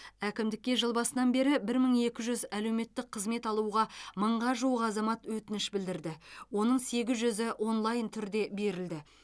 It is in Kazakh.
әкімдікке жыл басынан бері бір мың екі жүз әлеуметтік қызмет алуға мыңға жуық азамат өтініш білдірді оның сегіз жүзі онлайн түрде берілді